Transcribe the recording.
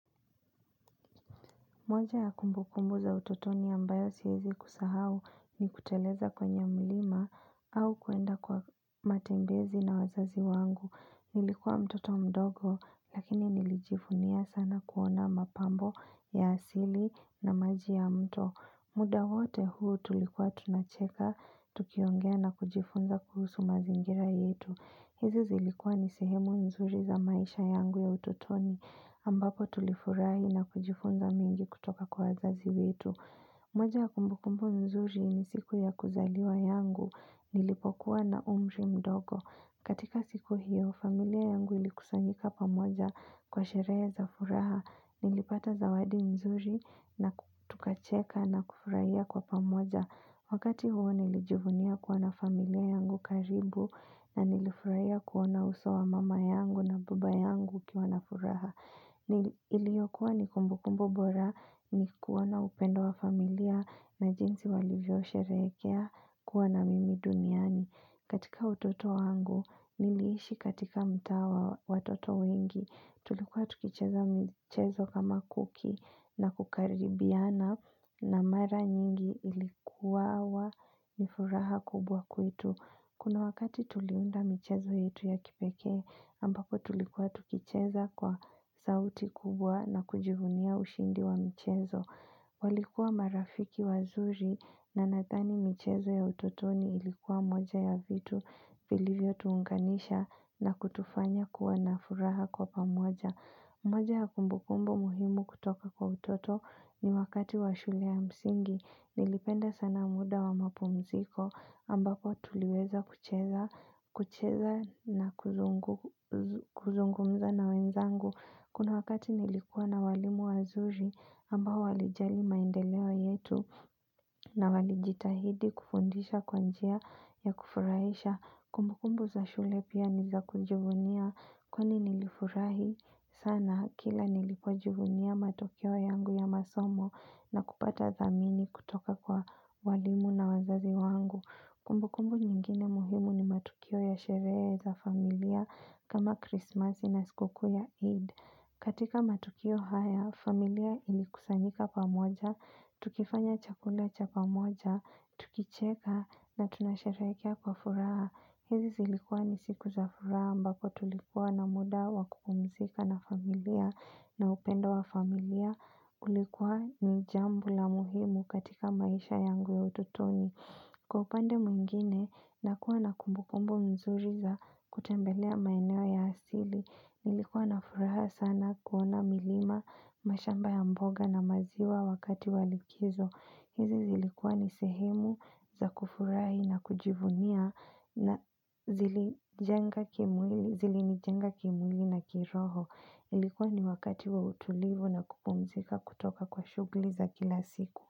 Moja ya kumbu kumbu za utotoni ambayo siwezi kusahau, ni kuteleza kwenye mlima au kuenda kwa matembezi na wazazi wangu. Nilikuwa mtoto mdogo, lakini nilijivunia sana kuona mapambo ya asili na maji ya mto. Muda wote huu, tulikuwa tunacheka, tukiongea na kujifunza kuhusu mazingira yetu. Hizi zilikuwa ni sehemu nzuri za maisha yangu ya ututoni, ambapo tulifurahi na kujifunza mingi kutoka kwa wazazi wetu. Moja ya kumbu kumbu nzuri, ni siku ya kuzaliwa yangu nilipokuwa na umri mdogo. Katika siku hiyo, familia yangu ilikusanyika pamoja kwa sherehe za furaha, nilipata zawadi nzuri na tukacheka na kufurahia kwa pamoja. Wakati huo, nilijuvunia kuwa na familia yangu karibu, na nilifurahia kuona uso wa mama yangu na baba yangu ikiwa na furaha. Iliyokuwa ni kumbu kumbu bora, ni kuona upendo wa familia, na jinsi walivyo sherehekea kuwa na mimi duniani. Katika utoto wangu, niliishi katika mtaa wa watoto wengi. Tulikuwa tukicheza michezo kama kuki, na kukaribiana na mara nyingi ilikuwa wa nifuraha kubwa kwetu. Kuna wakati tuliunda michezo yetu ya kipeke, ambako tulikuwa tukicheza kwa sauti kubwa na kujivunia ushindi wa mchezo. Walikuwa marafiki wazuri, na nadhani michezo ya utotoni ilikuwa moja ya vitu vilivyo tuunganisha, na kutufanya kuwa na furaha kwa pamoja. Moja ya kumbunkumbu muhimu kutoka kwa utoto, ni wakati wa shule ya msingi. Nilipenda sana muda wa mapumziko ambako tuliweza kucheza na kuzungumza na wenzangu. Kuna wakati nilikuwa na walimu wazuri, ambao walijali maendeleo yetu, na walijitahidi kufundisha kwa njia ya kufurahisha. Kumbu kumbu za shule pia nizakujivunia, kwani nilifurahi sana kila nilipojivunia matokeo yangu ya masomo, na kupata dhamini kutoka kwa walimu na wazazi wangu. Kumbu kumbu nyingine muhimu ni matukio ya sherehe za familia kama Christmasi na sikukuu ya Eid. Katika matukio haya, familia ilikusanyika pamoja, tukifanya chakula cha pamoja, tukicheka, na tunasharekea kwa furaha. Hizi zilikuwa ni siku za furaha, mbapo tulikuwa na muda wa kupumzika na familia na upendo wa familia kulikuwa ni jambo la muhimu katika maisha yangu ya utotoni. Kwa upande mwingine, nakuwa na kumbu kumbu mzuri za kutembelea maeneo ya asili. Nilikuwa na furaha sana kuona milima, mashamba ya mboga na maziwa wakati wa likizo. Hizi zilikuwa ni sehemu za kufurahi na kujivunia na zilinijenga kimwili na kiroho. Ilikuwa ni wakati wa utulivu na kupumzika kutoka kwa shughli za kila siku.